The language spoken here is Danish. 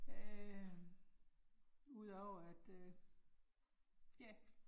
Øh udover at øh ja